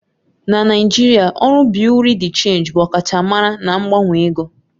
Na Naijiria, ọrụ Bị́yurị́ dị́ Chénjị bụ ọkachamara na mgbanwe ego.